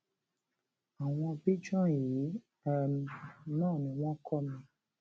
àwọn björn yìí um náà ni wọn kọ mi